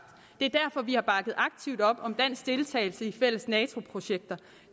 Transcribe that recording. det op om dansk deltagelse i fælles nato projekter